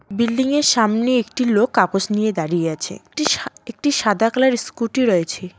Building -য়ের সামনে একটি লোক কাগজ নিয়ে দাঁড়িয়ে আছে একটি সাদা কালার -এর স্কুটি রয়েছে।